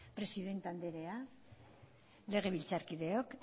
presidenta andrea legebiltzarkideok